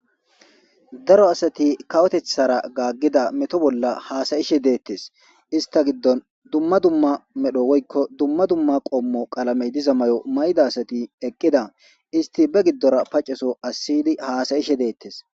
Daro asati kawotethara gaaggida meto bolla haasayishe deettes ista giddon dumma dumma medho woykko dumma dumma qoommo qalamey diza may7o may7da asati eqqida isti be giddora paceso asiydi haasayishe deettes'